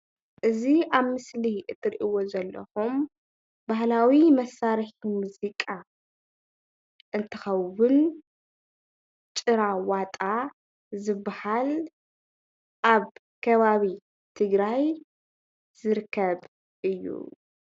እዚ ኣብ ምስሊ ትሪኢዎ ዘለኹም ባህላዊ መሳርሒ ሙዚቃ እንትኸውን ጭራ ዋጣ ዝባሃል ኣብ ከባቢ ትግራይ ዝርከብ እዩ፡፡